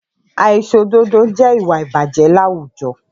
Àìṣòdodo jẹ́ ìwà ìbàjẹ́ láwùjọ